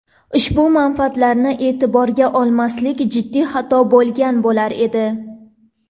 Ushbu manfaatlarni e’tiborga olmaslik jiddiy xato bo‘lgan bo‘lur edi.